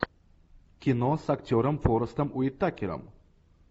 кино с актером форестом уитакером